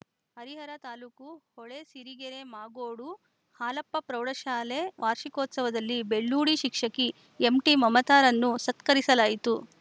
ಹರಿಹರ ತಾಲ್ಲೂಕು ಹೊಳೆಸಿರಿಗೆರೆ ಮಾಗೋಡು ಹಾಲಪ್ಪ ಪ್ರೌಢಶಾಲೆ ವಾರ್ಷಿಕೋತ್ಸವದಲ್ಲಿ ಬೆಳ್ಳೂಡಿ ಶಿಕ್ಷಕಿ ಎಂಟಿಮಮತರನ್ನು ಸತ್ಕರಿಸಲಾಯಿತು